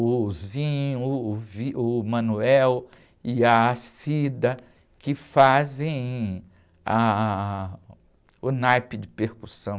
o, o, o e a, que fazem o naipe de percussão.